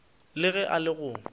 le ge e le go